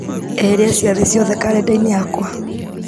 eheria ciathĩ ciothe karenda-inĩ yakwa